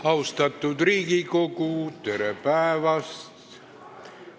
Austatud Riigikogu, tere päevast!